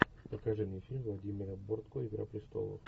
покажи мне фильм владимира бортко игра престолов